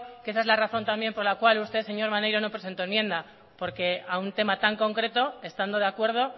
que esa es la razón también por la cual usted señor maneiro no presentó enmienda porque a un tema tan concreto estando de acuerdo